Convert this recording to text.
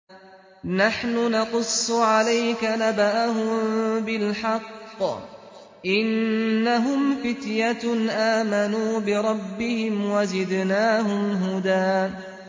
نَّحْنُ نَقُصُّ عَلَيْكَ نَبَأَهُم بِالْحَقِّ ۚ إِنَّهُمْ فِتْيَةٌ آمَنُوا بِرَبِّهِمْ وَزِدْنَاهُمْ هُدًى